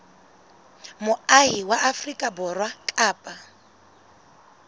moahi wa afrika borwa kapa